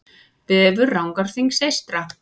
Vefur Rangárþings eystra